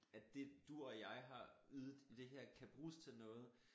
At dét du og jeg har ydet i det her kan bruges til noget